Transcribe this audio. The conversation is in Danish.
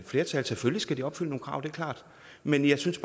flertal selvfølgelig skal de opfylde nogle krav det er klart men jeg synes